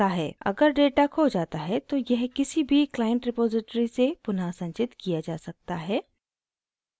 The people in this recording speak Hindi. अगर data खो data है तो यह किसी भी client repository से पुनः संचित किया जा सकता है